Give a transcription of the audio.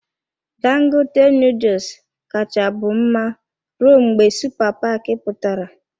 Dangote noodles kacha bụ mma rụọ mgbe supa paki pụtara.